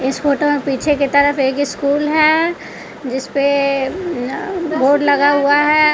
इस फोटो में पीछे की तरफ एक स्कूल है जिसपे बोर्ड लगा हुआ है।